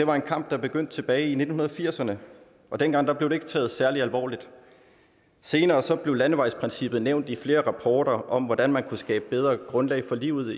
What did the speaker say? var en kamp der begyndte tilbage i nitten firserne og dengang blev det ikke taget særlig alvorligt senere blev landevejsprincippet nævnt i flere rapporter om hvordan man kunne skabe bedre grundlag for livet